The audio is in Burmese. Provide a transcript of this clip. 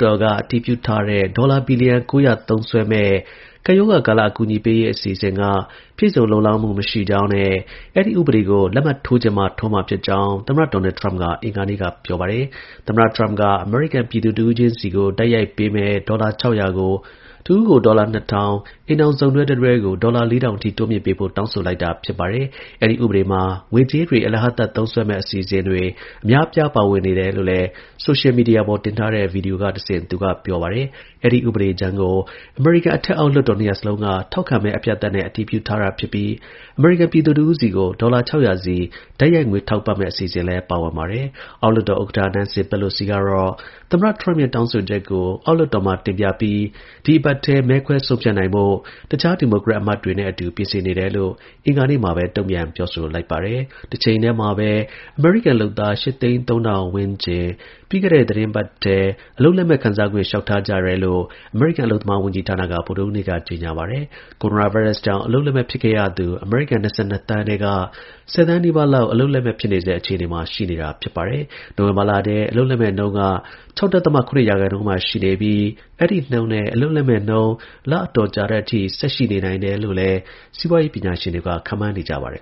တော်က အတည်ပြုထားတဲ့ ဒေါ်လာ ဘီလီယံ ၉၀၀ သုံးစွဲမယ့် ကပ်ရောဂါ ကာလ အကူအညီပေးရေး အစီအစဉ်က ပြည့်စုံလုံလောက်မှု မရှိကြောင်းနဲ့ အဲဒီ ဥပဒေကို လက်မှတ် ထိုးချင်မှ ထိုးမှာ ဖြစ်ကြောင်း သမ္မတ ဒေါ်နယ် ထရမ့်က အင်္ဂါနေ့က ပြောပါတယ်။ သမ္မတ ထရမ့်က အမေရိကန် ပြည်သူတစ်ဦးချင်းစီကို တိုက်ရိုက်ပေးမယ့် ဒေါ်လာ ၆၀၀ ကို တစ်ဦးကို ဒေါ်လာ ၂ ထောင်၊ အိမ်ထောင် စုံတွဲ တစ်တွဲကို ဒေါ်လာ ၄၀၀၀ တိုးမြှင့်ပေးဖို့ တောင်းဆိုလိုက်တာ ဖြစ်ပါတယ်။ အဲဒီ ဥပဒေမှာ ငွေကြေးတွေ အလဟသ သုံးစွဲတဲ့ အစီအစဉ်တွေ အများအပြား ပါဝင်တယ်လို့လည်း ဆိုရှယ်မီဒီယာပေါ်တင်ထားတဲ့ ဗီဒီယိုကတဆင့် သူကပြောပါတယ်။ အဲဒီ ဥပဒေမူကြမ်းကို အမေရိကန် အထက်အောက် လွှတ်တော် နှစ်ရပ်စလုံးက ထောက်ခံမဲ အပြတ်အသတ်နဲ့ အတည်ပြထားတာ ဖြစ်ပြီး အမေရိကန်ပြည်သူ တစ်ဦးစီကို ဒေါ်လာ ၆၀၀ စီ တိုက်ရိုက်ငွေထောက်ပံ့မယ့် အစီအစဉ်လည်းပါဝင်ပါတယ်။ အောက်လွှတ်တော် ဥက္ကဌ Nancy Pelosi ကတော့ သမ္မတ ထရမ့်ရဲ့ တောင်းဆိုချက်ကို အောက်လွှတ်တော်မှာ တင်ပြပြီး ဒီအပတ်ထဲ မဲခွဲ ဆုံးဖြတ်နိုင်ဖို့ တစ်ခြား ဒီမိုကရက်တွေ အမတ်တွေနဲ့အတူ ပြင်ဆင်နေတယ်လို့ အင်္ဂါနေ့မှာပဲ တုန့်ပြန်ပြောဆိုလိုက်ပါတယ်။ တစ်ချိန်တည်းမှာပဲ ပြီးခဲ့တဲ့ သီတင်းပတ်ထဲ အမေရိကန် လုပ်သား ၈၀၃,၀၀၀ ဝန်းကျင် အလုပ်လက်မဲ့ ခံစားခွင့် လျှောက်ထား ကြ တယ်လို့ အမေရိကန် အလုပ်သမား ဝန်ကြီးဌာနက ဗုဒ္ဓဟူးနေ့က ကြေညာပါတယ်။ ကိုရိုနာ ဗိုင်းရပ်စ်ကြောင့် အလုပ်လက်မဲ့ ဖြစ်ခဲ့ရသူ အမေရိကန် ၂၂ သန်းထဲက ၁၀ သန်းနီးပါးလောက် အလုပ်လက်မဲ့ ဖြစ်နေဆဲ အခြေ အနေမှာ ရှိနေတာပါ။ နိုဝင်ဘာလထဲ အလုပ်လက်မဲ့ နှုန်းက ၆.၇ ရာခိုင်နှုန်းမှာ ရှိနေပြီး အဲဒီနှုန်းနဲ့ အလုပ်လက်မဲ့နှုန်း လအတော်ကြာ တဲ့အထိ ဆက်ရှိနေနိုင်တယ်လို့လည်း စီးပွားရေး ပညာရှင်တွေက ခန့်မှန်းနေကြပါတယ်